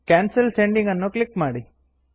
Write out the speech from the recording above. cancel sending ಅನ್ನು click ಮಾಡಿ